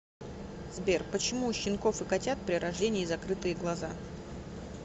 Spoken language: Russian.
сбер почему у щенков и котят при рождении закрытые глаза